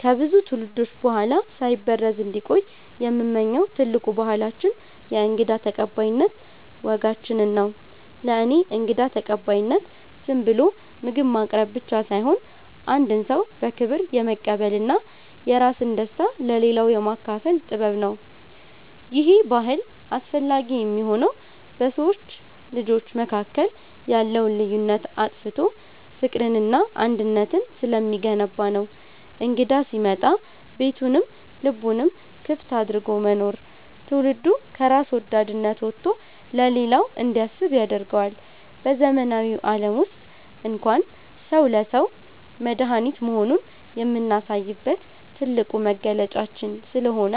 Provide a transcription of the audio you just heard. ከብዙ ትውልዶች በኋላ ሳይበረዝ እንዲቆይ የምመኘው ትልቁ ባህላችን የእንግዳ ተቀባይነት ወጋችንን ነው። ለእኔ እንግዳ ተቀባይነት ዝም ብሎ ምግብ ማቅረብ ብቻ ሳይሆን፣ አንድን ሰው በክብር የመቀበልና የራስን ደስታ ለሌላው የማካፈል ጥበብ ነው። ይሄ ባህል አስፈላጊ የሚሆነው በሰው ልጆች መካከል ያለውን ልዩነት አጥፍቶ ፍቅርንና አንድነትን ስለሚገነባ ነው። እንግዳ ሲመጣ ቤቱንም ልቡንም ክፍት አድርጎ መኖር፣ ትውልዱ ከራስ ወዳድነት ወጥቶ ለሌላው እንዲያስብ ያደርገዋል። በዘመናዊው ዓለም ውስጥ እንኳን ሰው ለሰው መድኃኒት መሆኑን የምናሳይበት ትልቁ መገለጫችን ስለሆነ፣